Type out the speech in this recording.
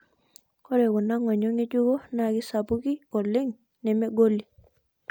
Ore kuna ng'onyo ng'ejuko naa keisapuki oleng nemegoli.